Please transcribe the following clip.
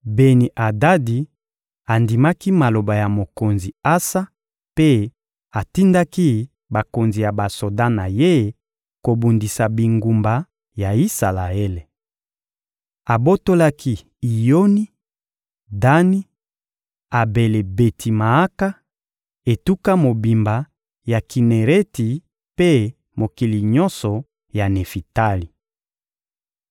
Beni-Adadi andimaki maloba ya mokonzi Asa mpe atindaki bakonzi ya basoda na ye kobundisa bingumba ya Isalaele. Abotolaki Iyoni, Dani, Abele-Beti-Maaka, etuka mobimba ya Kinereti mpe mokili nyonso ya Nefitali.